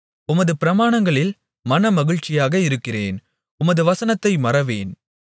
உமது பிரமாணங்களில் மனமகிழ்ச்சியாக இருக்கிறேன் உமது வசனத்தை மறவேன்